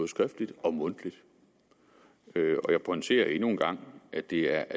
skriftligt og mundtligt og jeg pointerer endnu en gang at det er